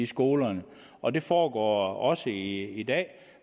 skolerne og det foregår også i dag